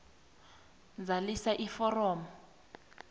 zalisa iforomo a